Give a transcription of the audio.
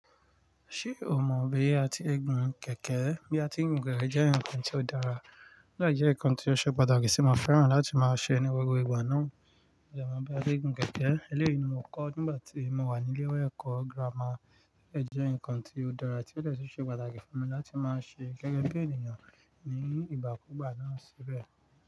Ṣé o mọ bí a ti le gun kẹ̀kẹ́? Bí a ti ń gun kẹ̀kẹ́ jẹ́ nǹkan tó dára, ó dẹ̀ jẹ́ nǹkan tó ṣe pàtàkì tí mo fẹ́ràn láti máa ṣe ní gbogbo ìgbà náà. Mo dẹ̀ mọ bí a ti ń gun kẹ̀kẹ́, eléyìí ni mo kọ́ nígbà tí mo wà ní ilé-ìwé ẹ̀kọ́ gírámà. Ó jẹ́ nǹkan tó dára tí ó de sì ṣe pàtàkì fún mi láti máa ṣe gẹ́gẹ́ bí ènìyàn ní ìgbàkúgbà náà síbẹ̀.